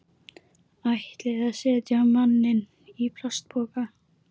Ætliði að setja manninn í plastpoka?